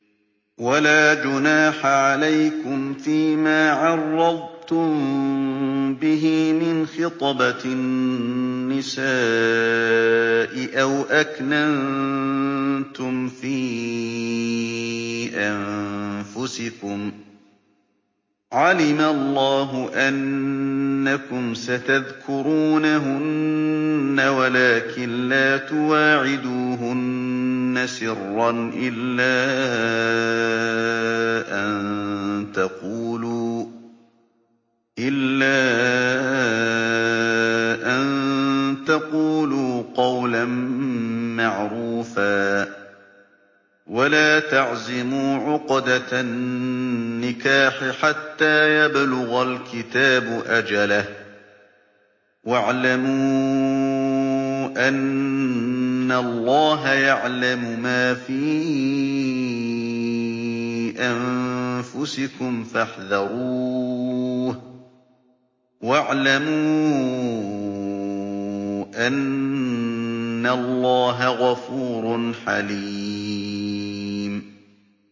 وَلَا جُنَاحَ عَلَيْكُمْ فِيمَا عَرَّضْتُم بِهِ مِنْ خِطْبَةِ النِّسَاءِ أَوْ أَكْنَنتُمْ فِي أَنفُسِكُمْ ۚ عَلِمَ اللَّهُ أَنَّكُمْ سَتَذْكُرُونَهُنَّ وَلَٰكِن لَّا تُوَاعِدُوهُنَّ سِرًّا إِلَّا أَن تَقُولُوا قَوْلًا مَّعْرُوفًا ۚ وَلَا تَعْزِمُوا عُقْدَةَ النِّكَاحِ حَتَّىٰ يَبْلُغَ الْكِتَابُ أَجَلَهُ ۚ وَاعْلَمُوا أَنَّ اللَّهَ يَعْلَمُ مَا فِي أَنفُسِكُمْ فَاحْذَرُوهُ ۚ وَاعْلَمُوا أَنَّ اللَّهَ غَفُورٌ حَلِيمٌ